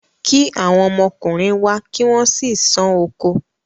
kí àwọn ọmọkùnrin wá kí wọ́n sì sán oko.